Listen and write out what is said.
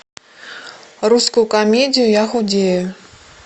русскую комедию я худею